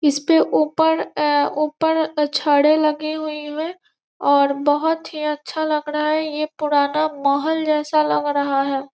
इसपे ऊपर उ ऊपर छड़े लगे हुए हैं और बहुत ही अच्छा लग रहा है ये पुराना महल जैसा लग रहा है।